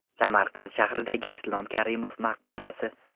Samarqand shahridagi Islom Karimov maqbarasi .